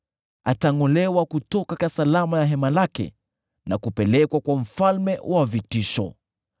Atangʼolewa kutoka usalama wa hema lake, na kupelekwa kwa mfalme wa vitisho.